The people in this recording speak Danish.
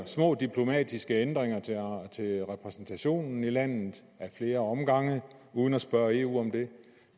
små diplomatiske ændringer til repræsentationen i landet ad flere omgange uden at spørge eu om det